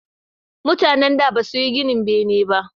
Mutanen da ba suyi ginin bene ba